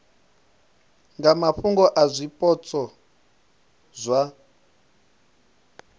nga mafhungo a zwipotso zwa